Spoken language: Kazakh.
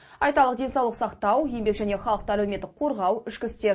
айталық денсаулық сақтау еңбек және халықты әлеуметтік қорғау ішкі істер